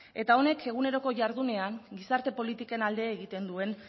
eta honek eguneroko jardunean gizarte politiken alde egiten duen